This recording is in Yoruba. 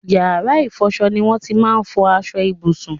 Yàrá ìfọṣọ ni won ti máa n fọ aṣọ ìbùsùn